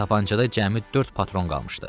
Tapançada cəmi dörd patron qalmışdı.